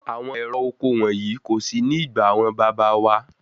Àwọn ẹ̀rọ oko wọ̀nyí kò sí ní ìgbà àwọn bàbá wá.